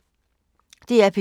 DR P3